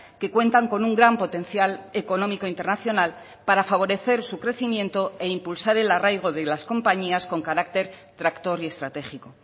que cuentan con un gran potencial económico internacional para favorecer su crecimiento e impulsar el arraigo de las compañías con carácter tractor y estratégico